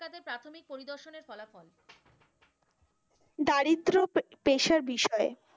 দারিদ্র পেশা বিষয়ে,